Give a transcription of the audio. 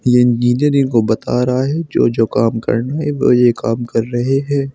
ये इंजीनियर इनको बता रहा है जो जो काम करना है वो ये काम कर रहे हैं।